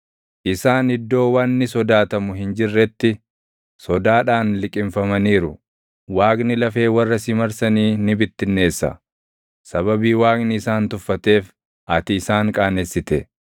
Isaan iddoo wanni sodaatamu hin jirretti, sodaadhaan liqimfamaniiru. Waaqni lafee warra si marsanii ni bittinneessa; sababii Waaqni isaan tuffateef, ati isaan qaanessite.